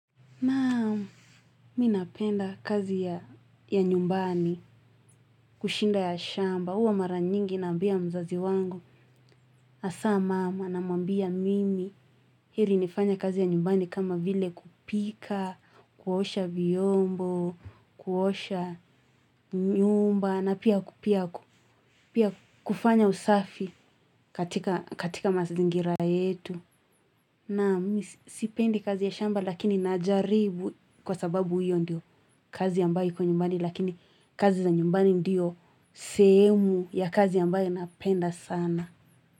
Naam, mi napenda kazi ya nyumbani, kushinda ya shamba, huwa mara nyingi naambia mzazi wangu, hasa mama namwambia mimi, heri nifanye kazi ya nyumbani kama vile kupika, kuosha vyombo, kuosha nyumba, na pia pia kufanya usafi katika mazingira yetu. Na mi sipendi kazi ya shamba lakini najaribu kwa sababu hiyo ndiyo kazi ambaye iko nyumbani lakini kazi za nyumbani ndiyo sehemu ya kazi ambaye napenda sana.